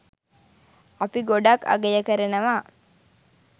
අපි ගොඩක් අගය කරනව.